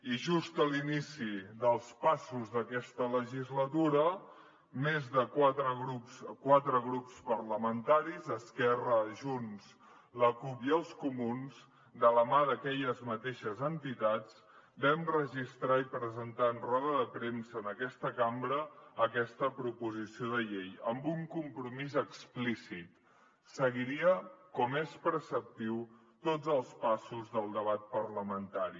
i just a l’inici dels passos d’aquesta legislatura quatre grups parlamentaris esquerra junts la cup i els comuns de la mà d’aquelles mateixes entitats vam registrar i presentar en roda de premsa en aquesta cambra aquesta proposició de llei amb un compromís explícit seguiria com és preceptiu tots els passos del debat parlamentari